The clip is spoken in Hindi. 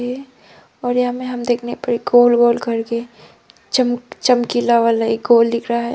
ये और यहां में हम देखने पर एक गोल गोल करके चम चमकीला वाला एक गोल दिख रहा है।